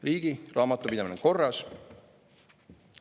Riigi raamatupidamine on korras.